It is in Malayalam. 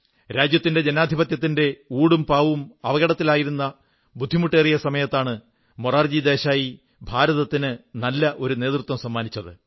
രാജ്യത്തിന്റെ ജനാധിപത്യത്തിന്റെ ഊടുംപാവും അപകടത്തിലായിരുന്ന ബുദ്ധിമുട്ടേറിയ സമയത്താണ് മൊറാർജി ദേശായി ഭാരതത്തിന് നല്ല ഒരു നേതൃത്വം സമ്മാനിച്ചത്